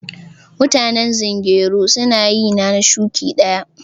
Mutanen zungeru su na yi na shuki daya.